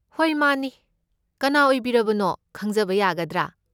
ꯍꯣꯏ ꯃꯥꯅꯤ, ꯀꯅꯥ ꯑꯣꯏꯕꯤꯔꯕꯅꯣ ꯈꯪꯖꯕ ꯌꯥꯒꯗ꯭ꯔꯥ?